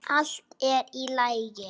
Allt er í lagi.